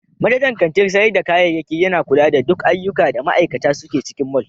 Manajan kantin sayar da kayayyaki yana kula da duk ayyuka da ma'aikata suke cikin mall.